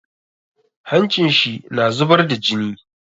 Hancin shi na zubar da jini.